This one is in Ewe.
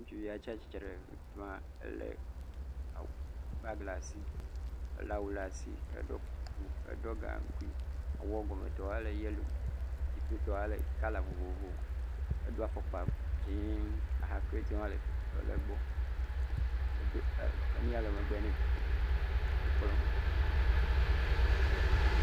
Ŋutsuvi tsia tsitre ɖe afi ma ele abagi ɖe asi. Ele awu ɖe asi. Eɖɔ kuku. Eɖɔ gaŋkui. Awua gɔmetɔ ele yellow. Dziƒotɔa le kɔla vovovo. Edoa fɔkpa dzie. Aha kretiwo hã le egbɔ. Edo nu ya le megbe nɛ. Wo kplɔm